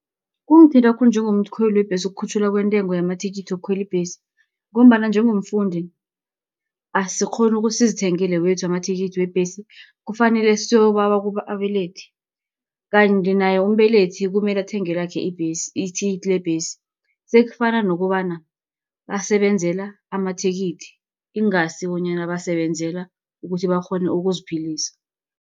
Kungithinta khulu njengomkhweli webhesi, ukukhutjhulwa kwentengo yamathikithi wokukhwela ibhesi, ngombana njengomfundi, asikghoni ukuthi sizithengele wethu amathikithi wembhesi, kufanele siyokubawa kubabelethi. Kanti naye umbelethi kumele athenge lakhe ibhesi, ithikithi lebhesi. Sekufana nokobana basebenzela amathikithi, ingasibonyana basebenzela ukuthi bakghone ukuziphilisa.